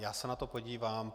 Já se na to podívám.